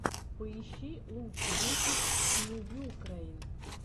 поищи лучший выпуск смувюкрэйн